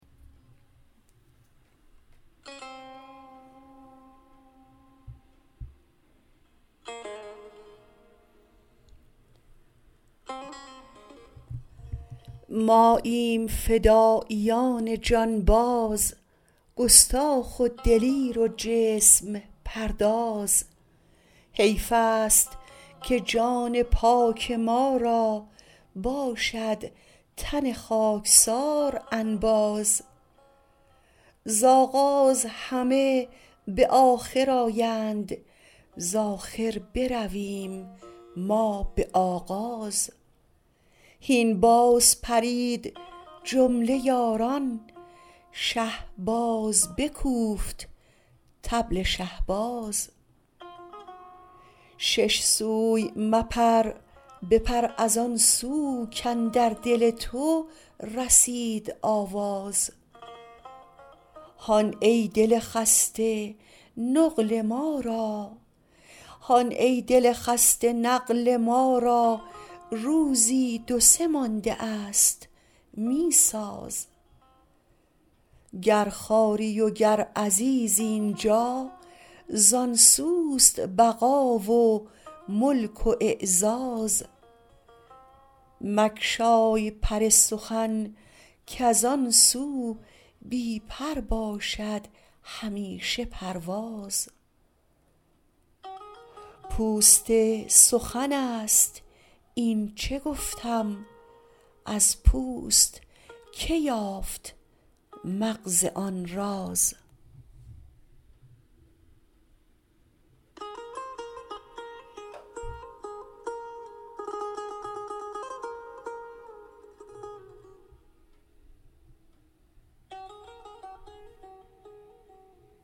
ماییم فداییان جانباز گستاخ و دلیر و جسم پرداز حیفست که جان پاک ما را باشد تن خاکسار انباز ز آغاز همه به آخر آیند ز آخر برویم ما به آغاز هین باز پرید جمله یاران شه باز بکوفت طبل شهباز شش سوی مپر بپر از آن سو کاندر دل تو رسید آواز هان ای دل خسته نقل ما را روزی دو سه ماندست می ساز گر خواری وگر عزیزی این جا زان سوست بقا و ملک و اعزاز مگشای پر سخن کز آن سو بی پر باشد همیشه پرواز پوست سخنست اینچ گفتم از پوست کی یافت مغز آن راز